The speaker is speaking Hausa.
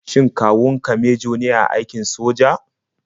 Shin kawun ka mejo ne a aikin soja?